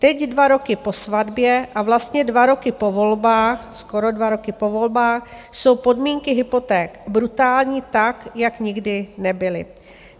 Teď, dva roky po svatbě a vlastně dva roky po volbách, skoro dva roky po volbách, jsou podmínky hypoték brutální tak, jak nikdy nebyly.